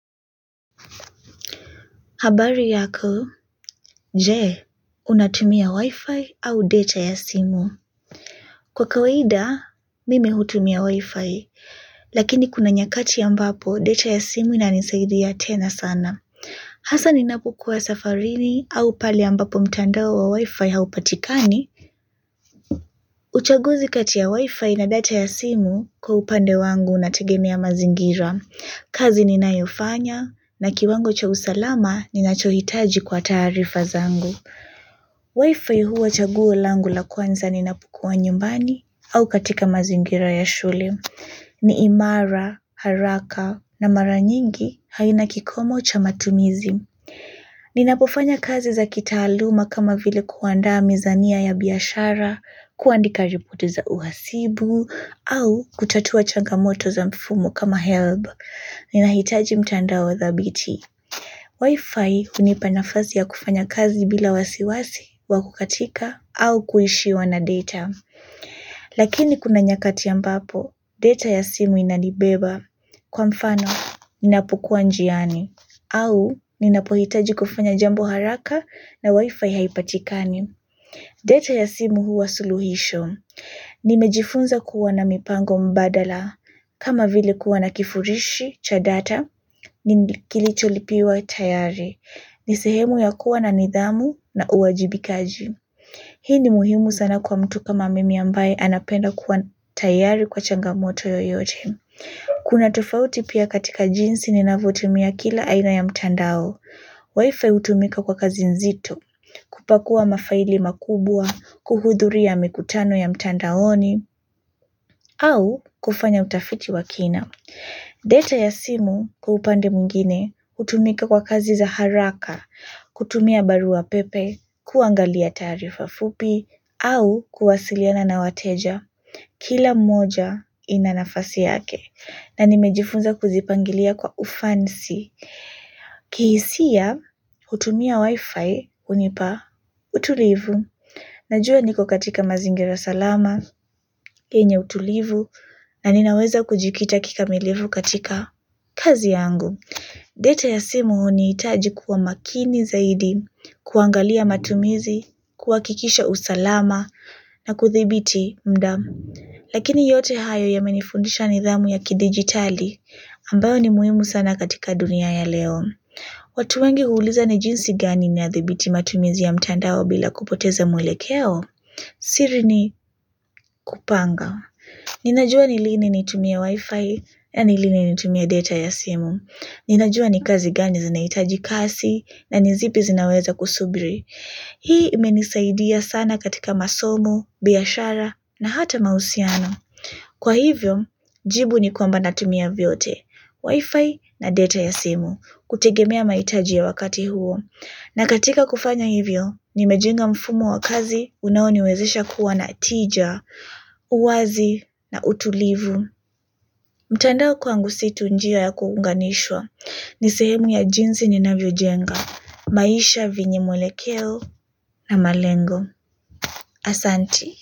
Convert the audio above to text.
Habari yako, je, unatumia wi-fi au data ya simu. Kwa kawaida, mimi hutumia wi-fi, lakini kuna nyakati ambapo data ya simu inanisaidia tena sana. Hasa ninapokuwa safarini au pale ambapo mtandao wa wi-fi haupatikani. Uchaguzi kati ya wi-fi na data ya simu kwa upande wangu unategemea mazingira. Kazi ninayofanya na kiwango cha usalama ninachohitaji kwa taarifa zangu. Wi-Fi huwa chaguo langu la kwanza ninapokua nyumbani au katika mazingira ya shule. Ni imara, haraka na mara nyingi haina kikomo cha matumizi. Ninapofanya kazi za kitaaluma kama vile kuandaa mizania ya biashara, kuandika ripoti za uhasibu, au kuchatua changamoto za mfumu kama helb. Ninahitaji mtandao thabiti. Wifi hunipa nafasi ya kufanya kazi bila wasiwasi wa kukatika au kuishiwa na data. Lakini kuna nyakati ambapo data ya simu inanibeba kwa mfano ninapokua njiani au ninapohitaji kufanya jambo haraka na wifi haipatikani. Data ya simu huwa suluhisho nimejifunza kuwa na mipango mbadala kama vile kuwa na kifurishi cha data. Ni kilicholipiwa tayari. Ni sehemu ya kuwa na nidhamu na uwajibikaji. Hii ni muhimu sana kwa mtu kama mimi ambaye anapenda kuwa tayari kwa changamoto yoyote. Kuna tofauti pia katika jinsi ninavyotumia kila aina ya mtandao. Wifi utumika kwa kazi nzito. Kupakua mafaili makubwa kuhudhuria mikutano ya mtandaoni au kufanya utafiti wa kina data ya simu kwa upande mwingine hutumika kwa kazi za haraka. Kutumia barua pepe kuangalia taarifa fupi au kuwasiliana na wateja kila moja ina nafasi yake na nimejifunza kuzipangilia kwa ufansi. Kihisia kutumia wi-fi Unipa Utulivu. Najua niko katika mazingira salama yenye utulivu na ninaweza kujikita kikamilivu katika kazi yangu. Data ya simu hunihitaji kuwa makini zaidi, kuangalia matumizi, kuhakikisha usalama na kuthibiti mda mu. Lakini yote hayo yamenifundisha nidhamu ya kidijitali ambayo ni muimu sana katika dunia ya leo. Watu wengi huuliza ni jinsi gani ninadhibiti matumizi ya mtandao bila kupoteza mwelekeo? Siri ni kupanga. Ninajua ni lini nitumie wifi na ni lini nitumie data ya simu. Ninajua ni kazi gani zinaitaji kasi na ni zipi zinaweza kusubiri. Hii imenisaidia sana katika masomo, biashara na hata mahusiano. Kwa hivyo, jibu ni kwamba natumia vyote, wifi na data ya simu kutegemea mahitaji ya wakati huo. Na katika kufanya hivyo, nimejenga mfumo wa kazi unaoniwezesha kuwa na tija, uwazi na utulivu. Mtandao kwangu si tu njia ya kuunganishwa ni sehemu ya jinsi ninavyojenga, maisha venye mwelekeo na malengo. Asanti.